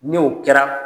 Ni o kɛra